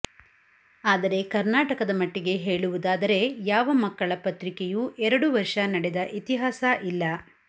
ಆದರೆ ಕರ್ನಾಟಕದ ಮಟ್ಟಿಗೆ ಹೇಳುವುದಾದರೆ ಯಾವ ಮಕ್ಕಳ ಪತ್ರಿಕೆಯೂ ಎರಡು ವರ್ಷ ನಡೆದ ಇತಿಹಾಸ ಇಲ್ಲ